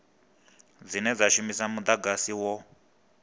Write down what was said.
dzine dza shumisa mudagasi wo